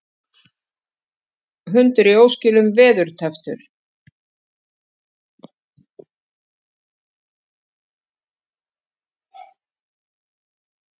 Hundur í óskilum veðurtepptur